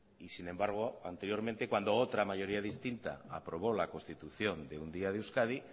y sin embargo anteriormente cuando otra mayoría distinta aprobó la constitución de un día de euskadi